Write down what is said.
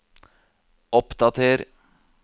oppdater